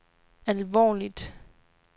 alvorligt